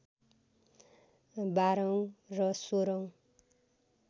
१२ औँ र १६ औँ